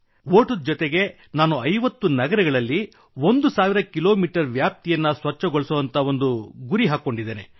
ಓಟದ ಜೊತೆಗೆ ನಾನು 50 ನಗರಗಳಲ್ಲಿ 1000 ಕೀಲೋ ಮೀಟರ್ ವ್ಯಾಪ್ತಿಯನ್ನು ಸ್ವಚ್ಛಗೊಳಿಸುವ ಗುರಿ ಹೊಂದಿದ್ದೇನೆ